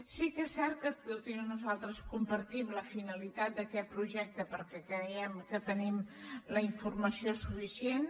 sí que és cert que en aquest tema nosaltres compartim la finalitat d’aquest projecte perquè creiem que tenim la informació suficient